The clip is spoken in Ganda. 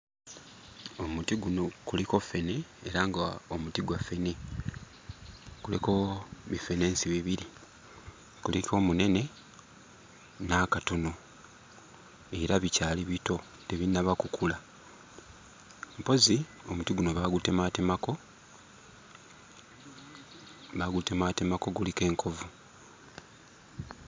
Omuti guno kuliko ffene era ng'omuti gwa ffene kuliko biffenensi bibiri: kuliko omunene n'akatono era bikyali bito, tebinnaba kukula. Mpozzi omuti guno baagutemaatemako, baagutemaatemako guliko enkovu.